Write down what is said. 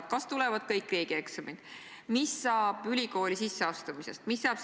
Eelkõige tuuakse välja liiga suurt koormust õpilastele, aga teiseks seda, et kõik keskkonnad ei ole igas vanuses õpilastele sobivad.